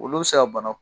Olu bɛ se ka bana